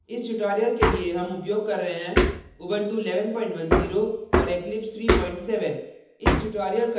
इस tutorial के लिए हम उपयोग कर रहे हैं